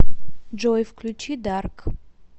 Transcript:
джой включи дарк